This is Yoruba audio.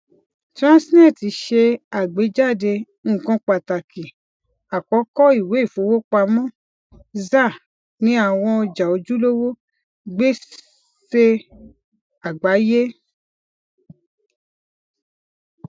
transnet ṣe àgbejade nkan pataki àkọkọ iwe ifowopamo zar ní àwọn ọjà ojulowo gbese àgbáyé